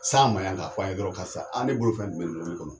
S'an ma yan k'a f'an yen dɔrɔn, karisa ne bolo fɛn jumɛn bɛ kɔnɔ